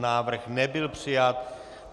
Návrh nebyl přijat.